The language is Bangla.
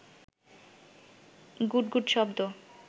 গুট গুট শব্দ